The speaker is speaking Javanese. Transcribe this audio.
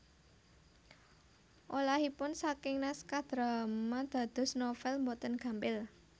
Olahipun saking naskah drama dados novèl boten gampil